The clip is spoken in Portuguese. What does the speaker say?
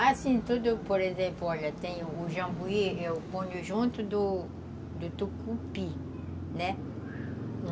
Assim, tudo, por exemplo, olha, tem o jambuí, eu ponho junto do do tucupi, né?